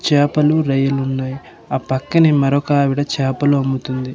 చేపలు రొయ్యలు ఉన్నాయి ఆ పక్కనే మరొక ఆవిడ చేపలు అమ్ముతుంది.